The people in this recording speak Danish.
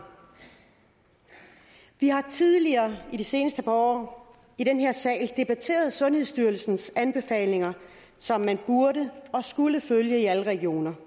vi har tidligere i de seneste par år i den her sal debatteret sundhedsstyrelsens anbefalinger som man burde og skulle følge i alle regioner